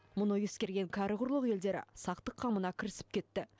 мұны ескерген кәрі құрлық елдері сақтық қамына кірісіп кетті